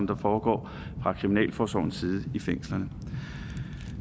der foregår fra kriminalforsorgens side i fængslerne